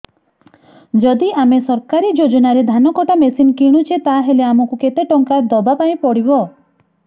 ଯଦି ଆମେ ସରକାରୀ ଯୋଜନାରେ ଧାନ କଟା ମେସିନ୍ କିଣୁଛେ ତାହାଲେ ଆମକୁ କେତେ ଟଙ୍କା ଦବାପାଇଁ ପଡିବ